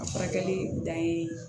A furakɛli dan ye